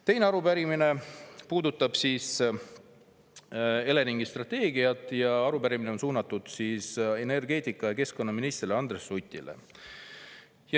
Teine arupärimine puudutab Eleringi strateegiat ja on suunatud energeetika- ja keskkonnaministrile Andres Sutile.